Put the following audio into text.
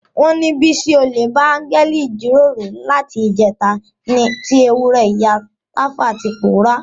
Wọ́n ní Bísí olè bá áńgẹ́lì jíròrò láti ìjẹta tí ewúrẹ́ ìyá Tàfá ti pòórá.